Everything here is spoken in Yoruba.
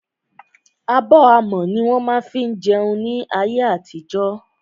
Abọ́ amọ̀ ní wọ́n má ń fí jẹun ní ayé àtijọ́.